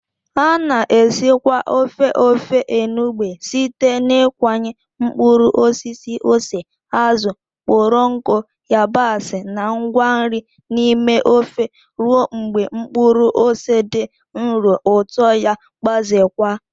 A na-esikwa ofe Ofe enugbe site n'ịkụnye mkpụrụ osisi ose, azụ̀ kpọrọ nkụ, yabasị, na ngwa nri n'ime ofe ruo mgbe mkpụrụ ose dị nro, ụtọ ya gbazeekwa.